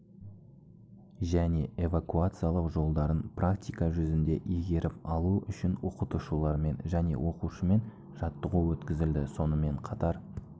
және эвакуациялау жолдарын практика жүзінде игеріп алу үшін оқытушылармен және оқушымен жаттығу өткізілді сонымен қатар